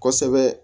Kosɛbɛ